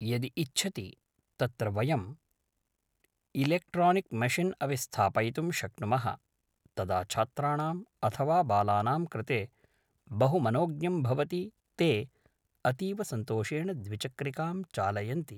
यदि इच्छति तत्र वयम् इलेक्ट्रानिक् मषिन् अपि स्थापयितुं शक्नुमः तदा छात्राणाम् अथवा बालानां कृते बहु मनोज्ञं भवति ते अतीवसन्तोषेण द्विचक्रिकां चालयन्ति